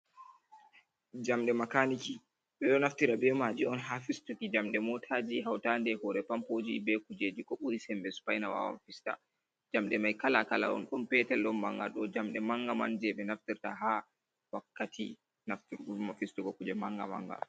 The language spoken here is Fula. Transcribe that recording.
Jamɗe makaniki, ɓe ɗo naftira be maji on ha fistuki jamɗe motaji, hautade á hore pampoji, be kujeji ko buri semɓe spaina wawan fista. Jamɗe mai kala kala on, don petel don manga, ɗo jamɗe mangaman, jei ɓe naftirta ha wakkati fistugo, kuje manga manga.